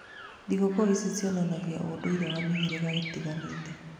Thigũkũ ici cionanagia ũndũire wa mĩhĩrĩga ĩtiganĩte.